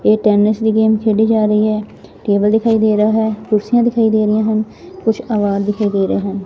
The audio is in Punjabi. ਇਹ ਟੈਨਿਸ ਦੀ ਗੇਮ ਖੇਡੀ ਜਾ ਰਹੀ ਹੈ ਟੇਬਲ ਦਿਖਾਈ ਦੇ ਰਿਹਾ ਹੈ ਕੁਰਸੀਆਂ ਦਿਖਾਈ ਦੇ ਰਹੀਆਂ ਹਨ ਕੁਝ ਆਵਾਰ ਦਿਖਾਈ ਦੇ ਰਹੇ ਹਨ।